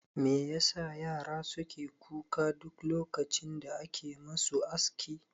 Me yasa yara suke kuka duk lokacin da ake musu aski?